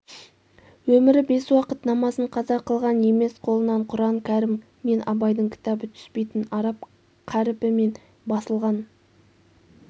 өмірі бес уақыт намазын қаза қылған емес қолынан құран-кәрим мен абайдың кітабы түспейтін араб қаріпімен басылған